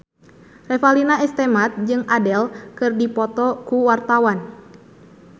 Revalina S. Temat jeung Adele keur dipoto ku wartawan